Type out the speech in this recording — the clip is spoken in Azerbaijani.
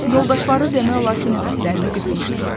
Yoldaşları demək olar ki, nəfəslərini qısmışdılar.